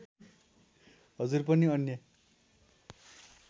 हजुर पनि अन्य